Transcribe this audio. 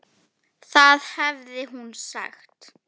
Það hafði hún sagt.